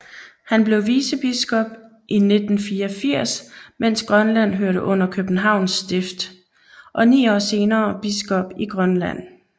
Han blev vicebiskop i 1984 mens Grønland hørte under Københavns Stift og ni år senere biskop i Grønland